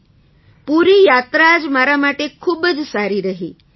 જી પૂરી યાત્રા જ મારા માટે ખૂબ જ સારી રહી